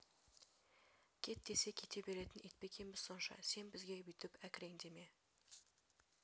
кет десе кете беретін ит пе екенбіз сонша сен бізге бүйтіп әкіреңде ме